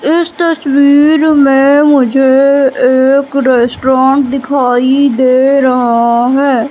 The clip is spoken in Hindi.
इस तस्वीर में मुझे एक रेस्टोरेंट दिखाई दे रहा है।